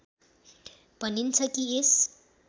भनिन्छ कि यस